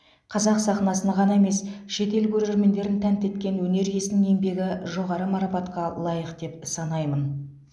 қазақ сахнасын ғана емес шетел көрермендерін тәнті еткен өнер иесінің еңбегі жоғары марапатқа лайық деп санаймын